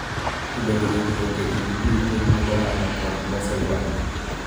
To bende winjruok e kind ji, tim mag ohala, kod loso ywak.